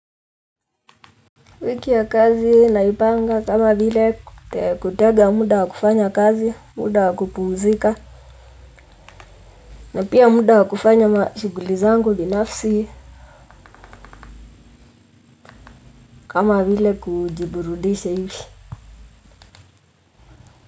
Wiki ya kazi naipanga kama vile kutega muda wa kufanya kazi, muda wa kupumzika, na pia muda wa kufanya ma shuguli zangu binafsi kama vile kujiburudisha hivi.